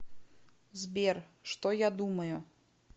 сбер что я думаю